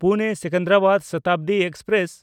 ᱯᱩᱱᱮ-ᱥᱮᱠᱮᱱᱫᱨᱟᱵᱟᱫ Shatabdi express